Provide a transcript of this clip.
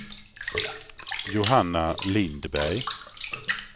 Johanna Lindberg